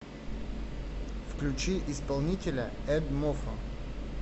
включи исполнителя эдмофо